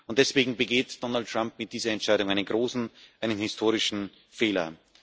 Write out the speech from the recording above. Und deswegen begeht Donald Trump mit dieser Entscheidung einen großen, einen historischen Fehler.